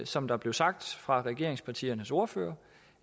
som der blev sagt fra regeringspartiernes ordførere